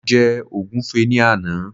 mo je ogunfe ni Ana